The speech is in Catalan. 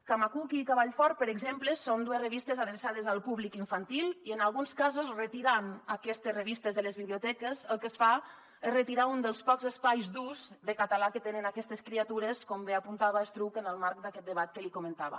camacuc i al públic infantil i en alguns casos retirant aquestes revistes de les biblioteques el que es fa és retirar un dels pocs espais d’ús de català que tenen aquestes criatures com bé apuntava estruch en el marc d’aquest debat que li comentava